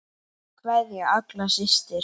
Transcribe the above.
Kveðja, Agla systir.